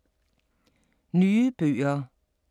Nye bøger